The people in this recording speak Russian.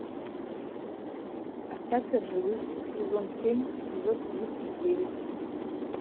остаться в живых сезон семь эпизод тридцать девять